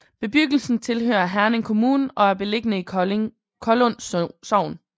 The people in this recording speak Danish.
Bebyggelsen tilhører Herning Kommune og er beliggende i Kollund Sogn